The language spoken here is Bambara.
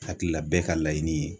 Hakilila bɛɛ ka laɲini ye